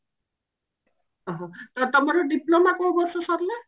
ଓଃ ହୋ ତମର diploma କଉ ବର୍ଷ ସରିଲା?